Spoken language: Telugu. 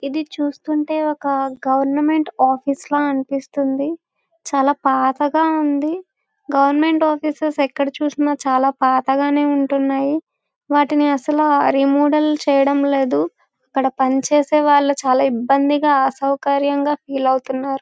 ఇది చూస్తుంటే ఒక గవర్నమెంట్ ఆఫీస్ ల అనిపిస్తుంది. చాలా పాతగా ఉంది. గవర్నమెంట్ ఆఫీసెస్ ఎక్కడ చుసిన చాలా పాతగానే ఉంటున్నాయి. వాటిని అసలు రీమోడల్ చెయ్యడం లేదు.ఇక్కడ పని చేసే వాలు చాలా ఇబ్బందిగా అసౌకర్యంగా ఫీల్ అవుతున్నారు.